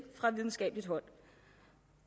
fra videnskabeligt hold